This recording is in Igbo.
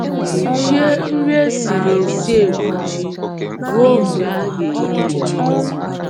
Kwuchie nri e siri esi ekwuchi ruo mgbe a ga - eri ya.